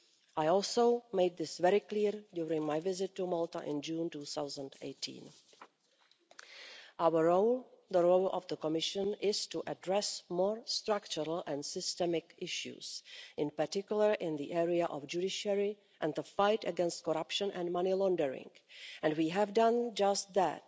I also made this very clear during my visit to Malta in June 2018. Our role the role of the Commission is to address more structural and systemic issues, in particular in the area of the judiciary and the fight against corruption and money laundering, and we have done just that.